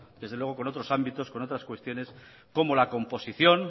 desde luego con otros ámbitos con otras cuestiones como la composición